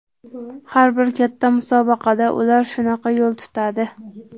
Har bir katta musobaqada ular shunaqa yo‘l tutadi.